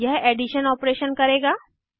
यह addition operation करेगा